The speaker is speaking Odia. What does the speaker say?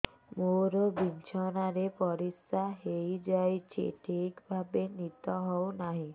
ମୋର ବିଛଣାରେ ପରିସ୍ରା ହେଇଯାଉଛି ଠିକ ଭାବେ ନିଦ ହଉ ନାହିଁ